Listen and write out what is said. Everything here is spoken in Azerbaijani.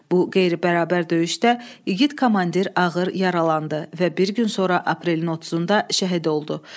Bu qeyri-bərabər döyüşdə igid komandir ağır yaralandı və bir gün sonra aprelin 30-da şəhid oldu.